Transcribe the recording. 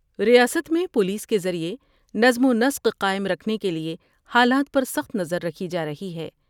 ریاست میں پولیس کے ذریعہ نظم ونسق قائم رکھنے کے لئے حالات پر سخت نظر رکھی جارہی ہے ۔